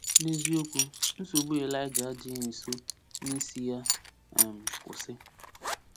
N’eziokwu, nsogbu Elija adịghị nso n’isi ya um kwụsị.